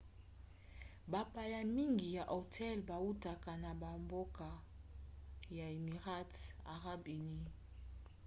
bapaya mingi ya hotel bautaka na bambokaya émirats arabes unis